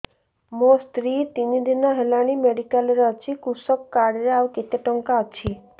ମୋ ସ୍ତ୍ରୀ ତିନି ଦିନ ହେଲାଣି ମେଡିକାଲ ରେ ଅଛି କୃଷକ କାର୍ଡ ରେ ଆଉ କେତେ ଟଙ୍କା ଅଛି